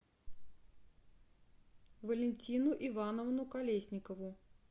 валентину ивановну колесникову